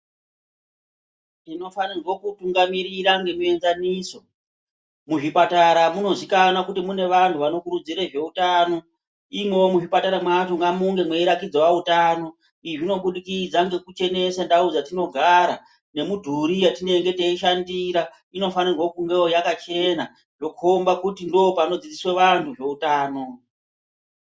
Tinofanirwe kutungamirira nemuenzaniso kuzvipatara muzikanwa kuti mune vanhu vanokurudzire zveutano imwowo kuzvipatara mwacho ngamunge mweiratidzawo utano izvi zvinobudukidza ngekuchenese ndau dzatinogara nemudhuri yatinenge teishandira inofanira kungewo yakachena ndokhomba kuti ndopanodzodzoswa vanhu zveutano.